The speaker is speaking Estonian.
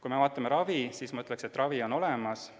Kui vaatame ravi, siis ma ütleksin, et ravi on olemas.